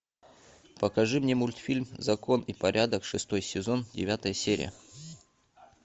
покажи мне мультфильм закон и порядок шестой сезон девятая серия